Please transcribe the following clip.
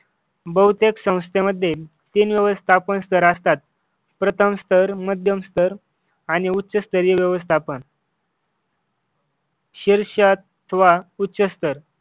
बहुतेक संस्थेमध्ये तीन व्यवस्थापक स्तर असतात. प्रथम सर मध्यम सर आणि उच्चस्तरीय व्यवस्थापन शीर्ष अथवा उच्च स्तर